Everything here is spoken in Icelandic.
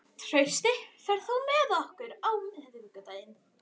Trausti, ferð þú með okkur á miðvikudaginn?